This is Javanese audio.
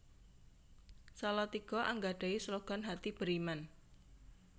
Salatiga anggadhahi slogan Hati Beriman